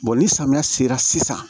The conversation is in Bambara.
ni samiya sera sisan